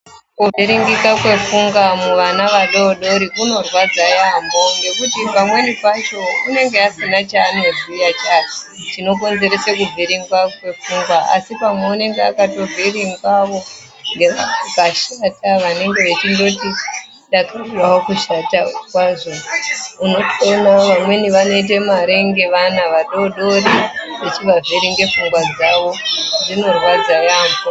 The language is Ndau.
Kuzviringika kwendxondo muvana vadodori kunorwadza yaambho ngekuti pamweni pacho uneenge asina chaanoziya chinokonzeresa kuvhiringwa kwepfungwa asi pamwe unenge akatovhiringwawo ngevakashata vanenge vechingoti apeno kushata kwazvo unotoonawo vamweni vanotoita mare ngevana vadodori ngekuvavhiringe pfungwa dzavo zvinorwadza yaambho.